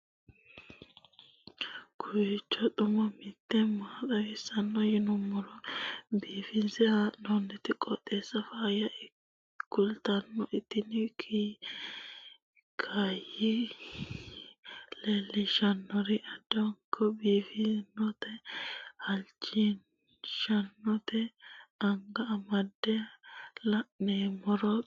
kowiicho xuma mtini maa xawissanno yaannohura biifinse haa'noonniti qooxeessano faayya kultanno tini kayi leellishshannori addanko biiffannote halchishshannote anga amande la'noommero xumate